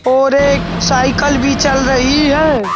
और एक साइकिल भी चल रही है।